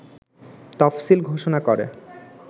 তফসিল ঘোষণা করে